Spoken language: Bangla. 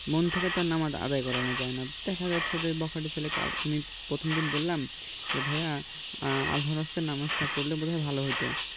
মন থেকে তো নামাজ আদায় করানো যায় না দেখা যাচ্ছে যে বখাটে ছেলেকে আমি প্রথম দিন বললাম যে ভাইয়া . নামাজটা পড়লে বোধহয় ভালো হতো